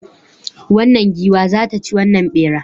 Wannan giwa za ta ci wannan bera